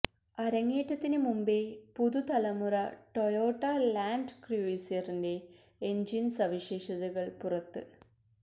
അരങ്ങേറ്റത്തിന് മുമ്പേ പുതുതലമുറ Toyota land ക്രൂയിസറിന്റെ എഞ്ചിൻ സവിശേഷതകൾ പുറത്ത്